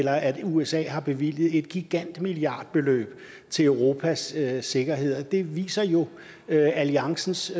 at usa har bevilget et gigantisk milliardbeløb til europas sikkerhed og det viser jo alliancens